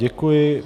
Děkuji.